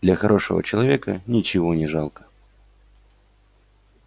для хорошего человека ничего не жалко